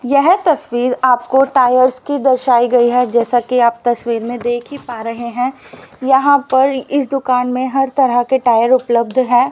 यह तस्वीर आपको टायर्स की दर्शायी गई हैं जैसा की आप तस्वीर में देख ही पा रहें हैं यहाँ पर इस दुकान में हर तरह के टायर उपलब्ध हैं।